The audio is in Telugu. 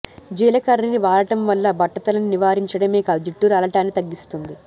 జీలకర్రని వాడటం వల్ల బట్టతలని నివారించడమే కాదు జుట్టు రాలటాన్ని తగ్గిస్తుంది